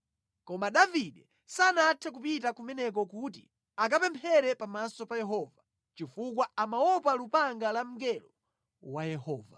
Koma Davide sanathe kupita kumeneko kuti akapemphere pamaso pa Yehova, chifukwa amaopa lupanga la mngelo wa Yehova.